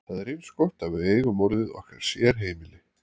Það er eins gott að við eigum orðið okkar sérheimili.